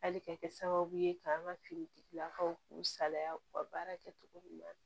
Hali ka kɛ sababu ye ka an ka finitigilakaw k'u salaya u ka baara kɛ cogo ɲuman